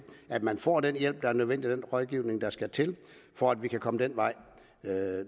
at man får den hjælp der er nødvendig og den rådgivning der skal til for at vi kan komme den vej